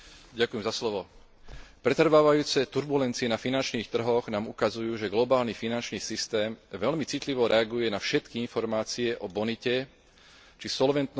Pretrvávajúce turbulencie na finančných trhoch nám ukazujú, že globálny finančný systém veľmi citlivo reaguje na všetky informácie o bonite, či solventnosti jednotlivých účastníkov.